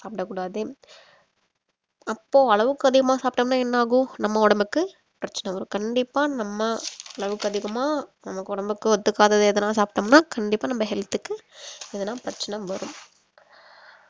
அப்போ அளவுக்கு அதிகமா சாப்பிட்டோம்னா என்ன ஆகும் நம்ம உடம்புக்கு பிரச்சினை வரும் கண்டிப்பா நம்ம அளவுக்கு அதிகமாக நம்மக்கு உடம்புக்கு ஒத்துக்காதது எதனா சாப்பிட்டோம்னா கண்டிப்பா நம்ம health க்கு எதனா பிரச்சினை வரும்